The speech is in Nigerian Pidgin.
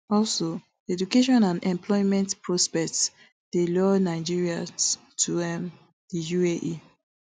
also education and employment prospects dey lure nigerians to um di uae